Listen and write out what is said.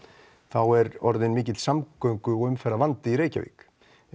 er orðinn mikill samgöngu og umferðarvandi í Reykjavík